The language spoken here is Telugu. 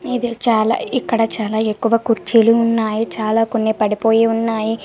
చాల ఇక్కడ చాల ఎక్కువ కుర్చీలు ఉన్నాయ్ చాల కొన్ని పడిపోయి ఉన్నాయ్ --